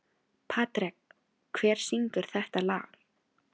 Patrek, hver syngur þetta lag?